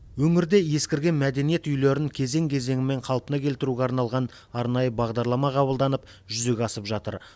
өңірде ескірген мәдениет үйлерін кезең кезеңімен қалпына келтіруге арналған арнайы бағдарлама қабылданып жүзеге асып жатыр